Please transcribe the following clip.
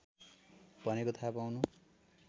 भनेको थाहा पाउनु